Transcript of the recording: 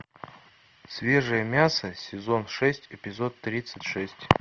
свежее мясо сезон шесть эпизод тридцать шесть